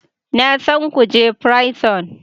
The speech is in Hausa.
Na san kuje prison